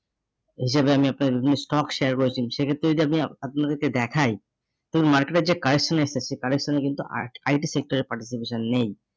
হিসেবে আমি আপনার যে stock share করেছেন সেক্ষেত্রে যদি আপ আপনাদেরকে দেখাই তো market এর যে correction এসেছে সেই correction এ কিন্তু আট IT sector এর participation নেই।